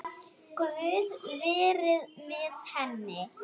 Guð veri með henni.